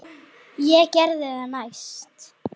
Ég geri það næst.